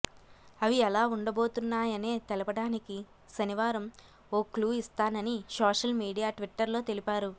అవి ఎలా ఉండబోతున్నాయనే తెలపడానికి శనివారం ఓ క్లూ ఇస్తానని సోషల్ మీడియా ట్విట్టర్లో తెలిపారు